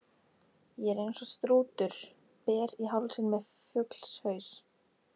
Ég er eins og strútur, ber í hálsinn með fuglshaus.